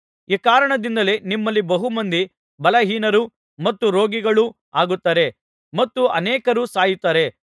ಈ ಕಾರಣದಿಂದಲೇ ನಿಮ್ಮಲ್ಲಿ ಬಹು ಮಂದಿ ಬಲಹೀನರು ಮತ್ತು ರೋಗಿಗಳು ಆಗುತ್ತಾರೆ ಮತ್ತು ಅನೇಕರು ಸಾಯುತ್ತಾರೆ